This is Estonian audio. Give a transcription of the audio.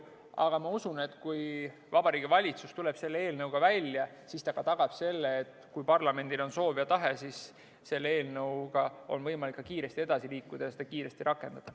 Aga ma usun, et kui Vabariigi Valitsus tuleb selle eelnõuga välja, siis ta tagab ka selle, et kui parlamendil on soov ja tahe, siis selle eelnõuga on võimalik kiiresti edasi liikuda ja seda kiiresti rakendada.